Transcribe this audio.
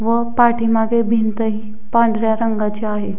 व पाठीमागे भिंत ही पांढऱ्या रंगाची आहे.